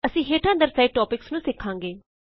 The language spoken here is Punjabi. ਅਸੀਂ ਹੇਠਾਂ ਦਰਸ਼ਾਏ ਟੌਪਿੱਕਸ ਨੂੰ ਸਿੱਖਾਂਗੇ